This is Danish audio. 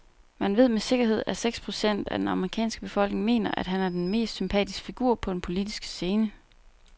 Man ved med sikkerhed, at seks procent af den amerikanske befolkning mener, at han er den mest sympatiske figur på den politiske scene.